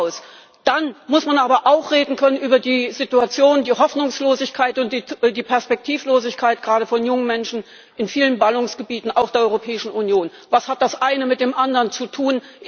Punkt, aus! Dann muss man aber auch über die Situation, die Hoffnungslosigkeit und die Perspektivlosigkeit gerade von jungen Menschen in vielen Ballungsgebieten auch der Europäischen Union, reden können. Was hat das eine mit dem anderen zu tun?